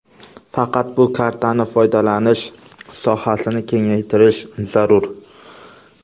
Faqat bu kartaning foydalanish sohasini kengaytirish zarur.